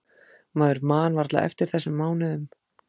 Maður man varla eftir þessum mánuðum.